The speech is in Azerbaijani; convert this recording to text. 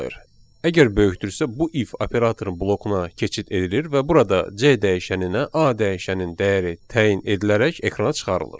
Əgər böyükdürsə, bu if operatorunun blokuna keçid edilir və burada C dəyişəninə A dəyişənin dəyəri təyin edilərək ekrana çıxarılır.